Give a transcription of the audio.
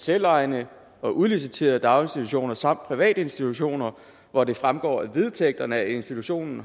selvejende og udliciterede daginstitutioner samt private institutioner hvor det fremgår af vedtægterne at institutionen